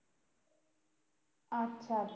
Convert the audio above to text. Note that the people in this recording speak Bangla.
আচ্ছা আচ্ছা